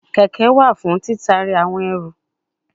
Keke wa fun titari awon eru